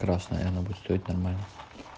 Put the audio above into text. красная она будет стоить нормально